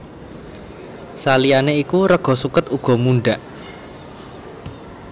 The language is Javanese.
Saliyané iku rega suket uga mundhak